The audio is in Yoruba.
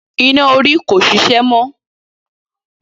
Iná orí ko ṣiṣẹ́ mọ́.